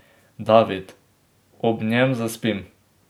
David: 'Ob njem zaspim.